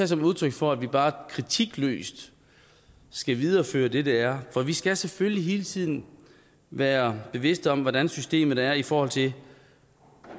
som udtryk for at vi bare kritikløst skal videreføre det der er for vi skal selvfølgelig hele tiden være bevidste om hvordan systemet er i forhold til